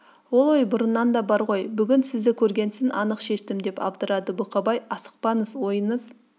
ол ой бұрыннан да бар ғой бүгін сізді көргесін анық шештім деп абдырады бұқабай асықпаңыз ойыңыз